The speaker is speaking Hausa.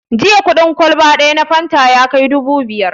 Jiya kuɗin kwalba ɗaya na fanta ya kai dubu biyar